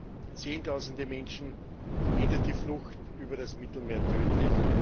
Für Zehntausende Menschen endet die Flucht über das Mittelmeer tödlich.